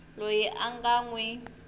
loyi a nga n wi